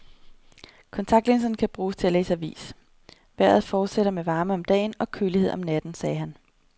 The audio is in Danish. Kontaktlinserne kan bruges til at læse avisVejret fortsætter med varme om dagen og kølighed om natten, sagde han.